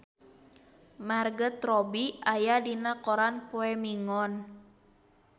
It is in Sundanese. Margot Robbie aya dina koran poe Minggon